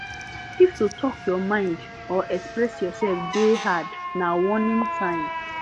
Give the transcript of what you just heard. if to talk your mind or express yourself dey hard na warning sign